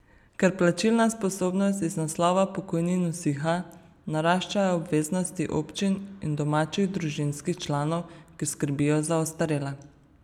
Ker plačilna sposobnost iz naslova pokojnin usiha, naraščajo obveznosti občin in domačih družinskih članov, ki skrbijo za ostarele.